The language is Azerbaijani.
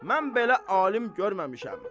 Mən belə alim görməmişəm.